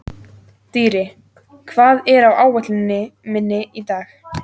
Dýri, hvað er á áætluninni minni í dag?